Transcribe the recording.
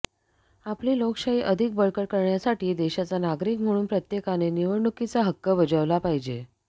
आपली लोकशाही अधिक बळकट करण्यासाठी देशाचा नागरिक म्हणून प्रत्येकाने निवडणुकीचा हक्क बजावला पाहिजे